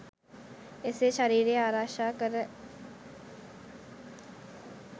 එසේ ශරීරය ආරක්‍ෂා කර